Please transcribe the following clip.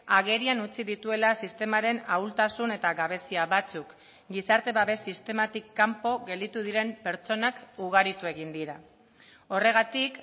agerian utzi dituela sistemaren ahultasun eta gabezia batzuk gizarte babes sistematik kanpo gelditu diren pertsonak ugaritu egin dira horregatik